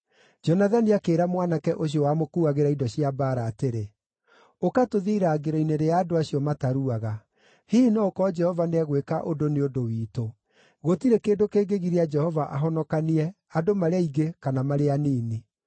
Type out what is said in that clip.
Jonathani akĩĩra mwanake ũcio wamũkuuagĩra indo cia mbaara atĩrĩ, “Ũka tũthiĩ irangĩro-inĩ rĩa andũ acio mataruaga. Hihi no gũkorwo Jehova nĩegwĩka ũndũ nĩ ũndũ witũ. Gũtirĩ kĩndũ kĩngĩgiria Jehova ahonokanie, andũ marĩ aingĩ, kana marĩ anini.”